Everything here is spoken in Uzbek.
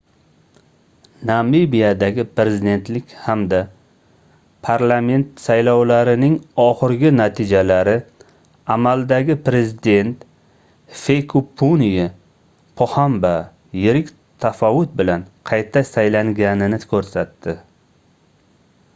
namibiyadagi prezidentlik hamda parlament saylovlarining oxirgi natijalari amaldagi prezident hifikepunye pohamba yirik tafovut bilan qayta saylanganini koʻrsatdi